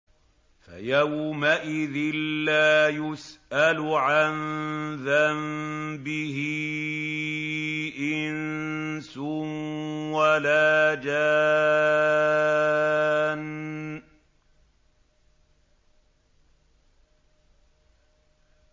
فَيَوْمَئِذٍ لَّا يُسْأَلُ عَن ذَنبِهِ إِنسٌ وَلَا جَانٌّ